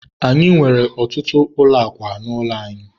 anyị nwere ọtụtụ ụlọ akwa n'ụlọ anyị.